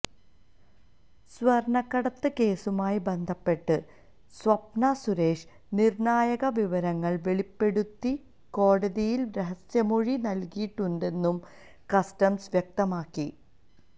സ്വര്ണക്കടത്ത് കേസുമായി ബന്ധപ്പെട്ട് സ്വപ്ന സുരേഷ് നിര്ണായക വിവരങ്ങള് വെളിപ്പെടുത്തി കോടതിയില് രഹസ്യമൊഴി നല്കിയിട്ടുണ്ടെന്നും കസ്റ്റംസ് വ്യക്തമാക്കി